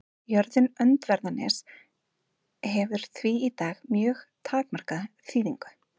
Jörðin Öndverðarnes hefur því í dag mjög takmarkaða þýðingu.